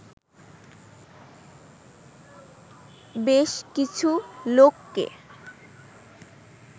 বেশ কিছু লোককে